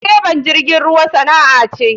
Direban jirgin ruwa sana'a ce.